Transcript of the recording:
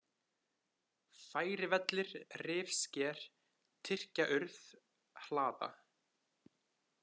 Færivellir, Rifsker, Tyrkjaurð, Hlaða